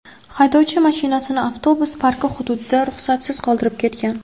Haydovchi mashinasini avtobus parki hududida ruxsatsiz qoldirib ketgan.